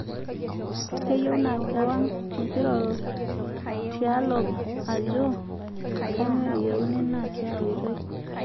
"Keyieu naa kewang nkirorot tialo ajoo kanyioo eyieuni naa tia oitoi.